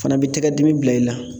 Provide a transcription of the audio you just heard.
Fana b'i tɛgɛdimi bila i la